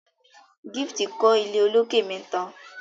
Gift kò ilé olokè mẹta.